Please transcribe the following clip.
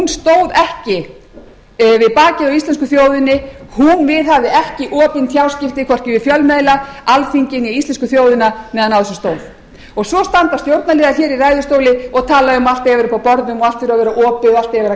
stóð ekki við bakið á íslensku þjóðina hún viðhafði ekki opin tjáskipti hvorki við fjölmiðla alþingi né íslensku þjóðina meðan á þessu stóð svo standa stjórnarliðar hér í ræðustóli og tala um að allt eigi að vera uppi á borðum og allt eigi að vera opið og allt eigi